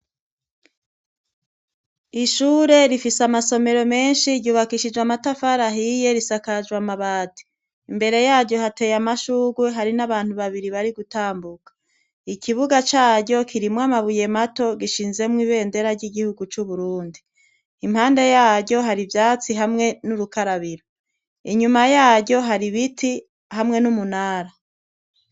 Ishure rifise amasomero menshi ryubakishijwe amatafarahiye risakajwe amabati, imbere yaryo hateye amashurwe hari n'abantu babiri bari gutambuka, ikibuga caryo kirimwo amabuye mato gishinzemwo ibendera ry'igihugu c'uburundi, impande yaryo hari ivyatsi hamwe n'urukarabiro, inyuma yayo hari ibiti hamwe n'umunara.